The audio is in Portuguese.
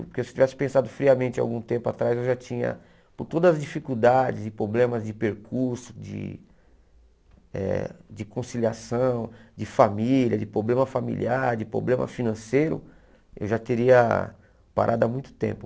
Porque se eu tivesse pensado friamente há algum tempo atrás, eu já tinha, por todas as dificuldades e problemas de percurso, de eh de conciliação, de família, de problema familiar, de problema financeiro, eu já teria parado há muito tempo.